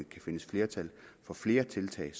kan findes flertal for flere tiltag